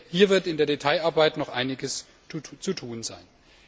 Hier wird in der Detailarbeit noch einiges zu tun sein.